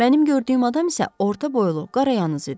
Mənim gördüyüm adam isə orta boylu, qarayanız idi.